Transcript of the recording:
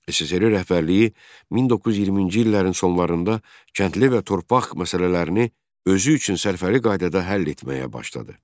SSRİ rəhbərliyi 1920-ci illərin sonlarında kəndli və torpaq məsələlərini özü üçün sərfəli qaydada həll etməyə başladı.